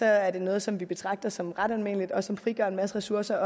er det noget som vi betragter som ret almindeligt og som frigør en masse ressourcer